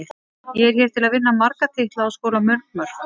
Ég er hér til að vinna marga titla og skora mörg mörk.